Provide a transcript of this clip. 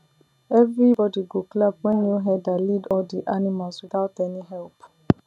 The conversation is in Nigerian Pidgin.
everybody go clap when new herder lead all the animals without any help